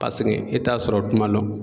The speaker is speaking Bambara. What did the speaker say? Paseke e t'a sɔrɔ tuma lɔn